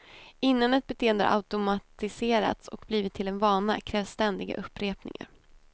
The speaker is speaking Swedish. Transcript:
Innan ett beteende har automatiserats och blivit till en vana krävs ständiga upprepningar.